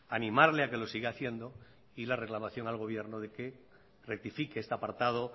animarle a que lo siga haciendo y la reclamación al gobierno de que rectifique este apartado